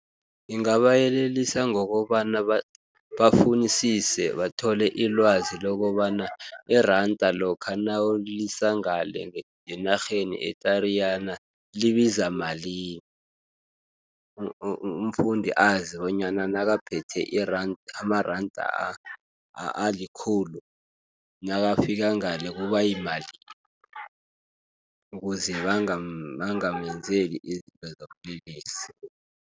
Ngingayelelisa ngokobana bafunisise bathole ilwazi lokobana iranda lokha nawulisa ngale ngenarheni eTariyana libiza malini. Umfundi azi bonyana nakaphethe amaranda alikhulu, nakafika ngale kubayimali, ukuze bangamenzeli izinto zobulelesi.